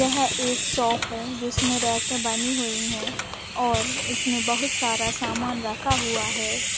यह एक शॉप हैं जिसमें रैके बनी हुई है और इसमे बहुत सारा सामान रखा हुआ है।